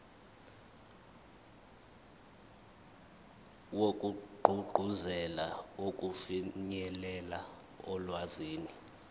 wokugqugquzela ukufinyelela olwazini